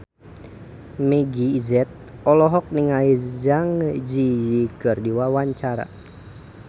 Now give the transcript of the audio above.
Meggie Z olohok ningali Zang Zi Yi keur diwawancara